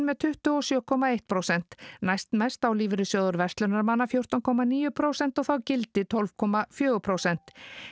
með tuttugu og sjö komma eitt prósent næstmest á Lífeyrissjóður verslunarmanna fjórtán komma níu prósent og þá gildi tólf komma fjögur prósent